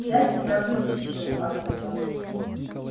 я тебя вытащил оттуда